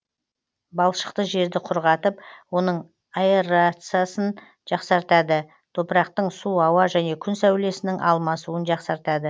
балшықты жерді құрғатып оның аэрациясын жақсартады топырақтың су ауа және күн сәулесінің алмасуын жақсартады